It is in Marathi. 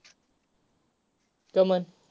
का पण.